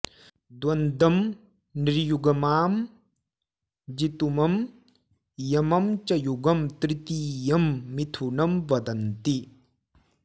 द्वन्द्वं नृयुग्मां जितुमं यमं च युगं तृतीयं मिथुनं वदन्ति